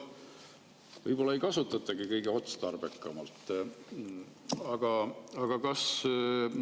Võib-olla ei kasutatagi kõige otstarbekamalt?